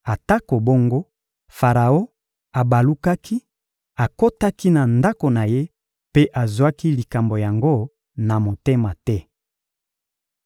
Atako bongo, Faraon abalukaki, akotaki na ndako na ye mpe azwaki likambo yango na motema te.